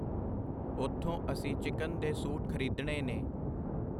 ਉੱਥੋਂ ਅਸੀਂ ਚਿਕਨ ਦੇ ਸੂਟ ਖਰੀਦਣੇ ਨੇ.